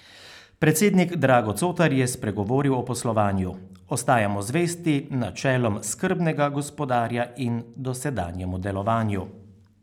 Predsednik Drago Cotar je spregovoril o poslovanju: 'Ostajamo zvesti načelom skrbnega gospodarja in dosedanjemu delovanju.